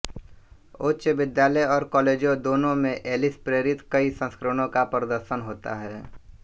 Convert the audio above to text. उच्च विद्यालय और कॉलेजों दोनों में एलिस प्रेरित कई संस्करणों का प्रदर्शन होता है